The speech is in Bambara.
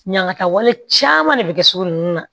Ɲangataw caman de bɛ kɛ sugu ninnu na